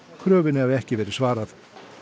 kröfunni hafi ekki verið svarað